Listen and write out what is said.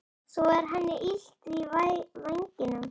Svo er henni illt í vængnum.